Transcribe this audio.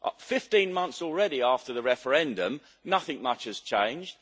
15 months already after the referendum, nothing much has changed.